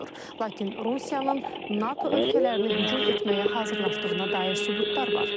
Lakin Rusiyanın NATO ölkələrinə hücum etməyə hazırlaşdığına dair sübutlar var.